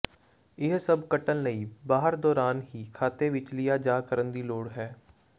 ਇਹ ਸਭ ਕੱਟਣ ਲਈ ਬਾਹਰ ਦੌਰਾਨ ਹੀ ਖਾਤੇ ਵਿੱਚ ਲਿਆ ਜਾ ਕਰਨ ਦੀ ਲੋੜ ਹੈ